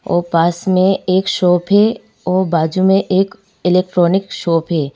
और पास में एक शॉप है और बाजू में एक इलेक्ट्रॉनिक शॉप है।